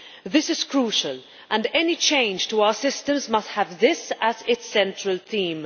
This is crucial, and any change to our systems must have this as its central theme.